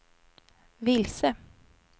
vilse